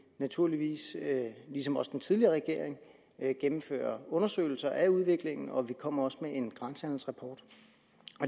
naturligvis ligesom også den tidligere regering gennemfører undersøgelser af udviklingen og vi kommer også med en grænsehandelsrapport